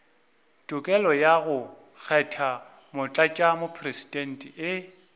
tokelo ya go kgetha motlatšamopresidente